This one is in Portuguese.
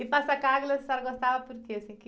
E Passacaglia, a senhora gostava por quê?